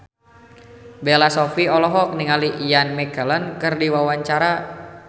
Bella Shofie olohok ningali Ian McKellen keur diwawancara